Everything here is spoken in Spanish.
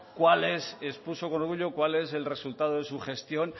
cuál es el resultado de su gestión